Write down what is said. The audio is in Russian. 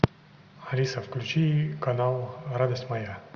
алиса включи канал радость моя